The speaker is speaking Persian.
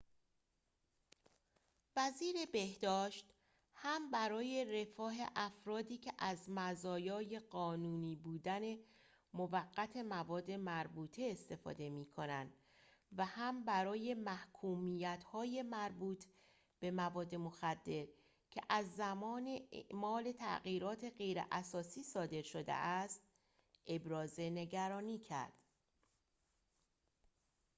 وزیر بهداشت هم برای رفاه افرادی که از مزایای قانونی بودن موقت مواد مربوطه استفاده می‌کنند و هم برای محکومیت‌های مربوط به مواد مخدر که از زمان اعمال تغییرات غیراساسی صادر شده است ابراز نگرانی کرد